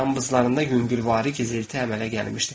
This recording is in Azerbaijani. Yanıqlarında yüngülvari gizilti əmələ gəlmişdi.